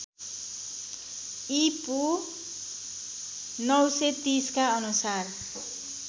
ईपू ९३० का अनुसार